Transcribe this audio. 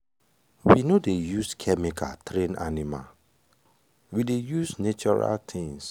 we no dey use chemical train animal we dey natural things